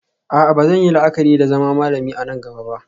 A'a ba zan yi la'akari da zama malami a nan gaba ba